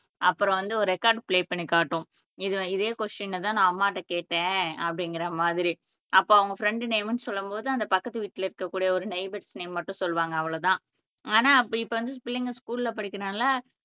அப்புறம் வந்து ஒரு ரெக்கார்டு ப்ளே பண்ணி காட்டும் இதே கொஸ்டினை தான் நான் அம்மாட்ட கேட்டேன் அப்படிங்கற மாதிரி அப்ப அவங்க ஃப்ரண்டு நேம்னு சொல்லும் போது அந்த பக்கத்து வீட்ல இருக்க கூடிய ஒரு நெய்பர் நேம் மட்டும் சொல்லுவாங்க அவ்ளோதான் ஆனா அப்படி இப்ப வந்து பிள்ளைங்க ஸ்கூல்ல படிக்கிறாங்கல்ல